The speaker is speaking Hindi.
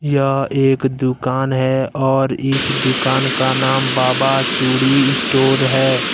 यह है एक दुकान है और इस दुकान का नाम बाबा चूड़ी स्टोर है।